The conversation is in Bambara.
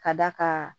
Ka d'a kan